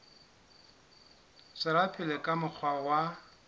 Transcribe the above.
tswela pele ka mokgwa wa